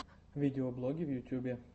видеоблоги в ютьюбе